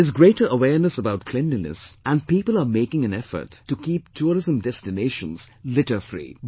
There is greater awareness about cleanliness and people are making an effort to keep tourism destinations litterfree